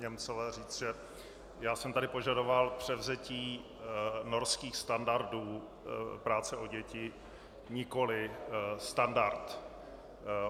Němcové říct, že já jsem tady požadoval převzetí norských standardů práce o děti, nikoliv standart.